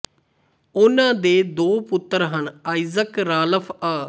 ਉਨ੍ਹਾਂ ਦੇ ਦੋ ਪੁੱਤਰ ਹਨ ਆਈਜ਼ਕ ਰਾਲਫ਼ ਅ